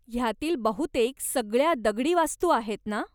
ह्यातील बहुतेक सगळ्या दगडी वास्तू आहेत ना?